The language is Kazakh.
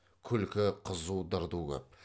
күлкі қызу дырду көп